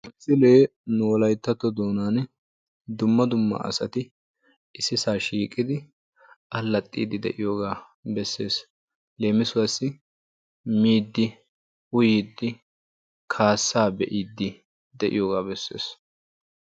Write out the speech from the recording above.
Ha misilee nu wolayttatto doonan dumma dumma asati issisaa shiqqidi allaaxiidi de'iyoogaa beessees. leemissuwaassi miiddi uyiiddi kaassaa be'iidi de'iyoogaa beessees.